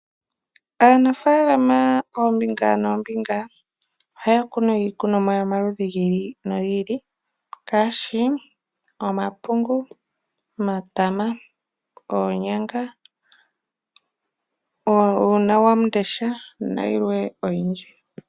Aanafaalama koombinga noombinga ohaya kunu iikunomwa yomaludhi gi ili nogi ili ngaashi omapungu, omatama, oonyanga, uunawamundesha nayilwe oyindji.